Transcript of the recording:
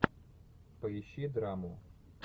поищи драму